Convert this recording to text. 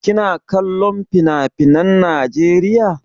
Kina kollon finafinan Najeriya?